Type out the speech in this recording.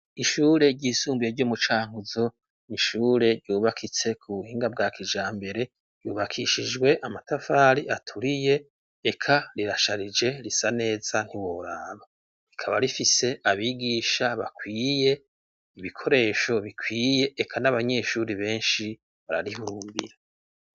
Ishure ry'isumbuye Ryo mucankuzo n'Ishure ryubakitse ku buhinga bwa kijambere, ryubakishijwe amatafari aturiye, eka rirasharije risa neza ntiworaba, rikaba rifise abigisha bakwiye, ibikoresho bikwiye, eka n'abanyeshuri benshi bararihurumbira.